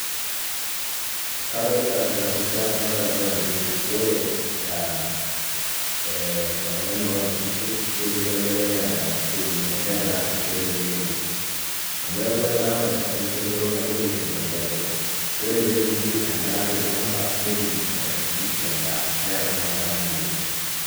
Kadolita tena picha ee nadamu ajo ore ee ore oltungani oota nkishu, kidimayu ake neeta siinye , negira aturisho tewuei nebo . Amu eeaku ore enkata nainosita nkishu enchoto nabo neturito enkae shoto . Ore peepuku endaa tolchamba , netum inkishu endaa , niaku ina adamu naleng.